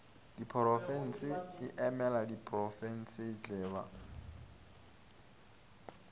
diporofense e emela diprofensetle ba